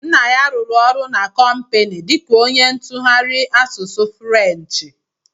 Nna ya rụrụ ọrụ na kompini dika onye ntụgharị asụsụ Frenchi.